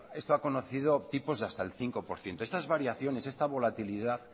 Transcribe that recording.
esto ha conocido tipos de hasta el cinco por ciento estas variaciones esta volatilidad